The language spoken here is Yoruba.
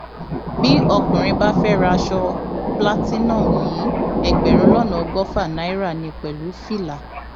bí ọkùnrin bá fẹẹ ra aṣọ platinum yìí ẹgbẹrún lọnà ọgọfà náírà ní pẹlú fìlà